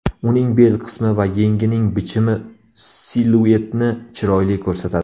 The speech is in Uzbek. Uning bel qismi va yengining bichimi siluetni chiroyli ko‘rsatadi.